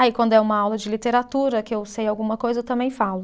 Aí quando é uma aula de literatura, que eu sei alguma coisa, eu também falo.